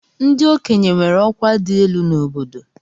Ndị okenye nwere ọkwa dị elu n'obodo.